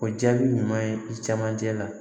O jaabi ɲuman ye i camancɛ la